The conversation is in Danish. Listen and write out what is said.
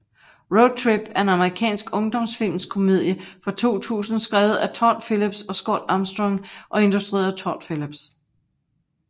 Road Trip er en amerikansk ungdomskomediefilm fra 2000 skrevet af Todd Phillips og Scott Armstrong og instrueret af Todd Phillips